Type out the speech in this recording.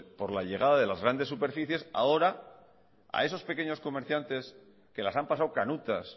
por la llegada de las grandes superficies ahora a esos pequeños comerciantes que las han pasado canutas